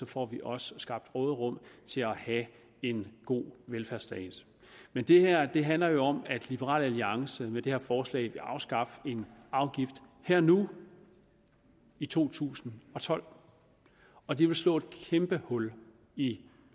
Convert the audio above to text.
får vi også skabt råderum til at have en god velfærdsstat men det her handler jo om at liberal alliance med det her forslag vil afskaffe en afgift her og nu i to tusind og tolv og det vil slå et kæmpe hul i